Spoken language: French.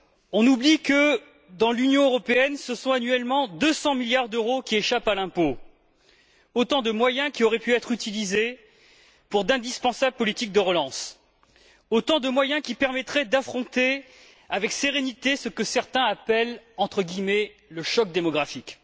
On oublie que, dans l'Union européenne, ce sont annuellement 200 milliards d'euros qui échappent à l'impôt, autant de moyens qui auraient pu être utilisés pour d'indispensables politiques de relance, autant de moyens qui permettraient d'affronter avec sérénité ce que certains appellent, entre guillemets, le choc démographique.